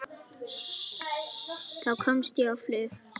Þá komst ég á flug.